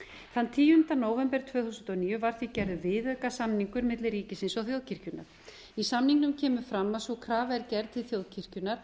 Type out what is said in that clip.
þann tíunda nóvember tvö þúsund og níu var því gerður viðaukasamningur milli ríkisins og þjóðkirkjunnar í samningnum kemur fram að sú krafa er gerð til þjóðkirkjunnar